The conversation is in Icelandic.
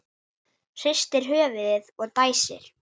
Hristir höfuðið og dæsir.